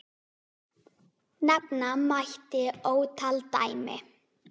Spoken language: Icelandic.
Nefna mætti ótal dæmi.